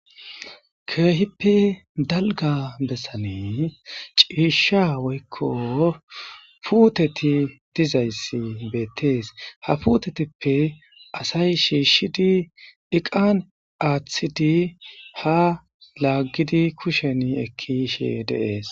Keehipe dalgga bessan ciishsha woykko puutteti dizayssi betees.ha puuttetape assay shiishidi eqan achidi ha laggiddi kushen eki yishe de'es.